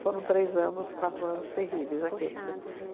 Foram três anos, quatro anos terríveis aqueles. Puxados, né?